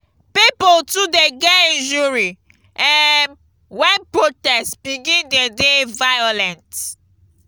pipo too dey get injury um wen protest begin dey dey violent.